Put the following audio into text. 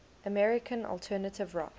american alternative rock